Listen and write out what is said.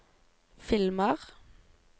filmer